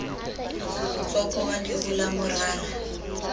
motswako wa lero la morara